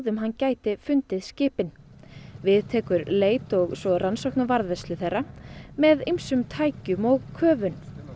hann gæti fundið skipin við tekur leit og svo rannsókn á varðveislu þeirra með ýmsum tækjum og köfun